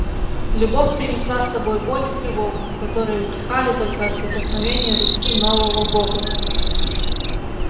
любовь принесла с собой боль и тревогу которые утихали только от прикосновения руки нового бога